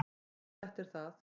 """Jú, þetta er það."""